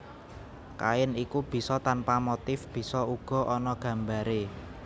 Kain iku bisa tanpa motif bisa uga ana gambaré